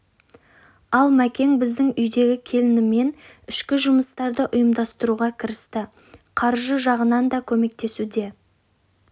ал мәкең біздің үйдегі келінімен ішкі жұмыстарды ұйымдастыруға кірісті қаржы жағынан да көмектесуде